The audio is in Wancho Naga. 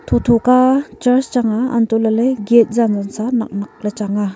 tho tho ka church changnga anto lale gate janga cha nak nak le changnga.